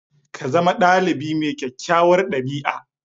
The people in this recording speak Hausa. Ka zama ɗalibi mai kyakkyawar ɗabi'a